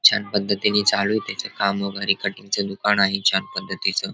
छान पद्धतीने चालू ये त्याच काम वगेरे. कटिंग च दुकान आहे छान पद्धतीच.